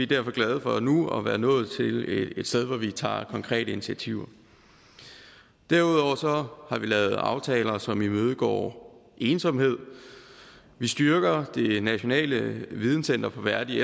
derfor glade for nu at være nået til et sted hvor vi tager konkrete initiativer derudover har vi lavet aftaler som imødegår ensomhed vi styrker det nationale videncenter for værdig